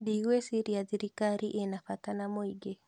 Ndigwĩciria thirikari ĩna bata na mũingĩ